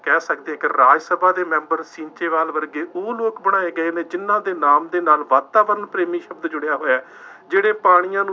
ਕਹਿ ਸਕਦੇ ਹਾਂ ਕਿ ਰਾਜ ਸਭਾ ਦੇ ਮੈਬਰ ਸੀਂਚੇਵਾਲ ਵਰਗੇ, ਉਹ ਲੋਕ ਬਣਾਏ ਗਏ ਨੇ, ਜਿੰਨ੍ਹਾ ਦੇ ਨਾਮ ਦੇ ਨਾਲ ਵਾਤਾਵਰਨ ਪ੍ਰੇਮੀ ਸ਼ਬਦ ਜੁੜਿਆ ਹੋਇਆ। ਜਿਹੜੇ ਪਾਣੀਆਂ ਨੂੰ